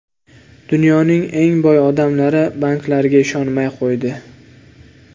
Dunyoning eng boy odamlari banklarga ishonmay qo‘ydi.